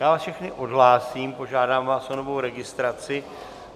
Já vás všechny odhlásím, požádám vás o novou registraci.